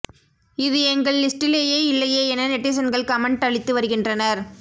இது எங்கள் லிஸ்டிலேயே இல்லையே என நெட்டிசன்கள் கமெண்ட் அளித்து வருகின்றனர்